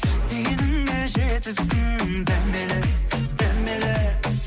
дегеніңе жетіпсің дәмелі дәмелі